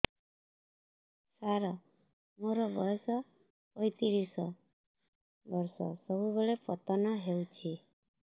ସାର ମୋର ବୟସ ପୈତିରିଶ ବର୍ଷ ସବୁବେଳେ ପତନ ହେଉଛି